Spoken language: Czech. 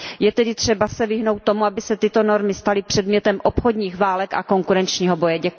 Je tedy třeba se vyhnout tomu, aby se tyto normy staly předmětem obchodních válek a konkurenčního boje.